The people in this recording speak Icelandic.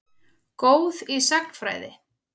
Góð í sagnfræði.